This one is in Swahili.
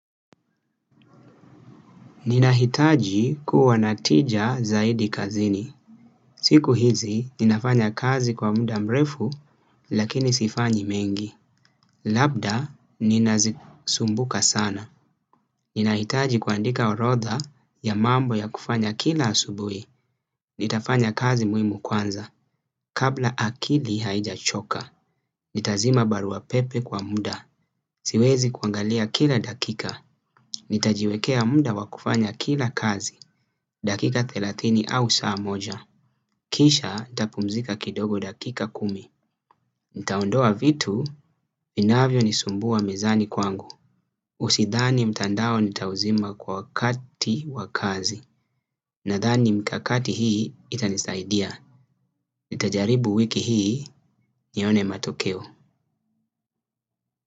Ninahitaji kuwa na tija zaidi kazini. Siku hizi ninafanya kazi kwa muda mrefu lakini sifanyi mengi. Labda ninazisumbuka sana. Ninahitaji kuandika orodha ya mambo ya kufanya kila asubui. Nitafanya kazi muhimu kwanza, kabla akili haijachoka. Nitazima barua pepe kwa muda, siwezi kuangalia kila dakika. Nitajiwekea muda wa kufanya kila kazi, dakika thelathini au saa moja. Kisha nitapumzika kidogo dakika kumi. Nitaondoa vitu, vinavyo nisumbua mezani kwangu Usidhani mtandao nitauzima kwa wakati wa kazi. Nadhani mkakati hii itanisaidia nitajaribu wiki hii, nione matokeo.